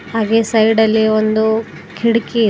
ಹಾಗೆ ಸೈಡಲ್ಲಿ ಒಂದು ಕಿಡ್ಕಿ ಇದ್--